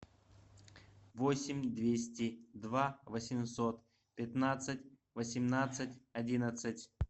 восемь двести два восемьсот пятнадцать восемнадцать одиннадцать